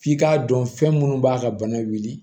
F'i k'a dɔn fɛn minnu b'a ka bana wuli